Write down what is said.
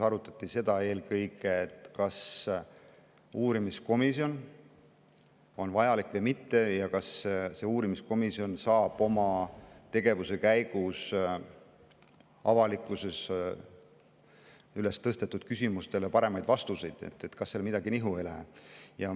Arutati eelkõige seda, kas uurimiskomisjon on vajalik või mitte ja kas see uurimiskomisjon saab oma tegevuse käigus avalikkuses üles tõstetud küsimustele paremaid vastuseid, kas seal midagi nihu ei lähe.